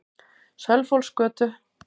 Sölvhólsgötu